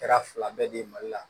Kɛra fila bɛɛ di mali la